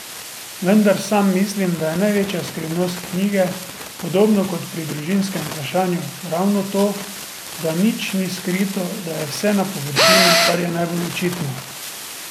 Vendar sam mislim, da je največja skrivnost knjige, podobno kot pri družinskem vprašanju, ravno to, da nič ni skrito, da je vse na površini, kar najbolj očitno.